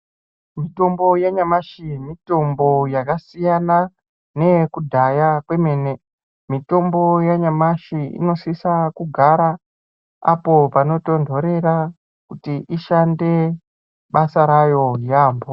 Mitombo yanyamashi mitombo yakasiyana neyekudhaya kwemene mitombo yanyamashi inosisa kugara apo panotonhorera kuti ishande basa rayo yaamho.